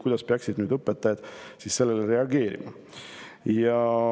Kuidas peaksid nüüd õpetajad sellele reageerima?